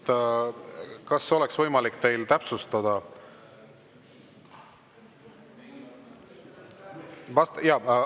Kas oleks võimalik täpsustada?